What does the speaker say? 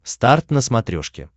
старт на смотрешке